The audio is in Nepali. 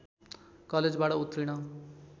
कलेजबाट उर्तीण